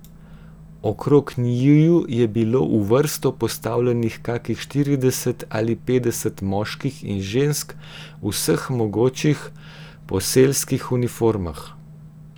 Okrog njiju je bilo v vrsto postavljenih kakih štirideset ali petdeset moških in žensk v vseh mogočih poselskih uniformah.